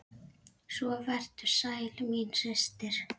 Svo vertu sæl, mín systir!